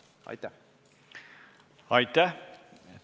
Aitäh!